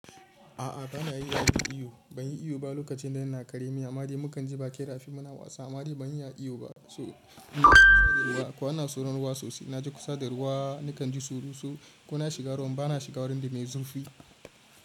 A'a bana iya yin iyo. Ban yi iyo ba lokacin da yana kare mi. Amadi mukan ji ba ƙera fim muna wasa. Amadi ban iya iyo ba. Ko ana soron ruwa sosai. Na je kusa da ruwa, ni kan ji tsoro sosai. Kuna shiga ruwan, bana shiga wurin da mai zurfi.